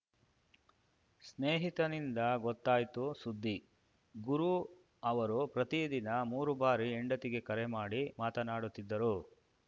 ಸ್ನೇಹಿತನಿಂದ ಗೊತ್ತಾಯ್ತು ಸುದ್ದಿ ಗುರು ಅವರು ಪ್ರತಿದಿನ ಮೂರು ಬಾರಿ ಹೆಂಡತಿಗೆ ಕರೆ ಮಾಡಿ ಮಾತನಾಡುತ್ತಿದ್ದರು